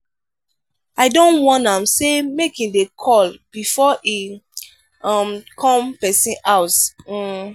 i don warn am sey make im dey call before e um come pesin house. um